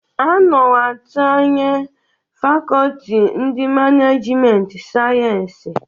A nọwa atinye fakoti ndi manajiment sayensis.